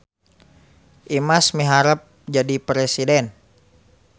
Imas miharep jadi presiden